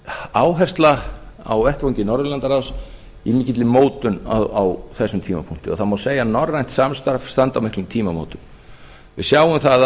áhersla á vettvangi norðurlandaráðs í mikilli mótun á þessum tímapunkti það má segja að norrænt samstarf standi á miklum tímamótum við sjáum það